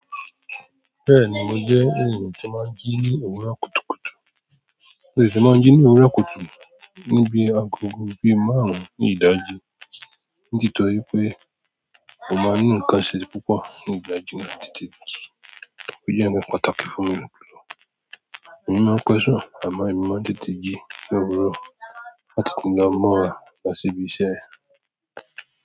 Bẹ́ẹ̀ni, mo jẹ́ ènìyàn tí máa ń jí ní òwúrọ̀ kùtùkùtù. Mo tè te máa ń jí ní òwúrọ̀ kùtù níbi agogo bíi márùn-ún ní ìdájí. Ní tìtorí pé, mo máa nínú kásẹ́ẹ̀sì púpọ̀ ní ìdájí náà títí, ó jẹ́ ǹkan pàtàkì fún mi ni gbogbo. Ẹ̀yin máa ń pẹ̀sẹ̀ àmọ́ ẹ̀yin máa ń tètè jí ní òwúrọ̀ láti ti lọ mọ́ra lọ síbi iṣẹ́.